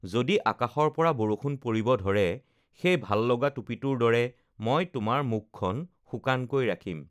যদি আকাশৰ পৰা বৰষুণ পৰিব ধৰে, সেই ভাল লগা টুপীটোৰ দৰে মই তোমাৰ মুখখন শুকানকৈ ৰাখিম৷